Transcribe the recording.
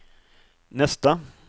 nästa